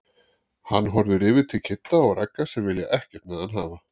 Hann horfir yfir til Kidda og Ragga sem vilja ekkert með hann hafa.